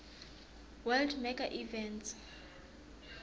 world mega events